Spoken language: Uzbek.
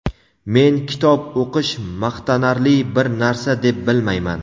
Men kitob o‘qish maqtanarli bir narsa deb bilmayman.